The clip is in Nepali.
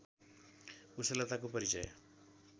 कुशलताको परिचय